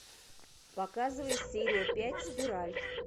показывай серия пять спираль